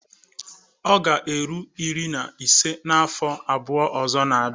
Ọ ga-eru iri na ise n'afọ abụọ ọzọ na-abịa.